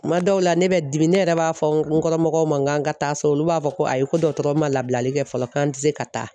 Kuma dɔw la ne bɛ dimi ne yɛrɛ b'a fɔ n kɔrɔ mɔgɔw ma kan ka taa so, olu b'a fɔ ko ayi ko dɔtɔrɔw ma labilali kɛ fɔlɔ k'an tɛ se ka taa.